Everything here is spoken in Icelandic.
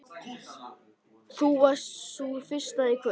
Þú varst sú fyrsta í kvöld.